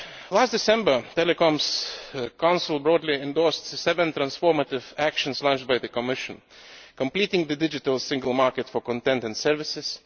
Last December the Telecoms Council broadly endorsed seven transformative actions launched by the Commission completing the digital single market for content and services